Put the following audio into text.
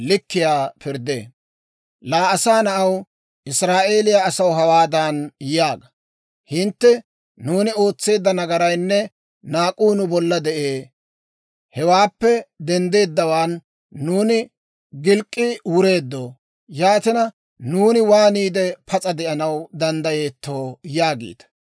«Laa asaa na'aw, Israa'eeliyaa asaw hawaadan yaaga; ‹Hintte, «Nuuni ootseedda nagaraynne naak'uu nu bolla de'ee; hewaappe denddeeddawaan nuuni gilk'k'i wureeddo. Yaatina, nuuni waaniide pas'a de'anaw danddayeetto?» yaagiita.